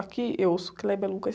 Aqui eu ouço Kleber Lucas.